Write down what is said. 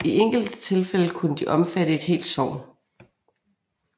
I enkelte tilfælde kunne de omfatte et helt sogn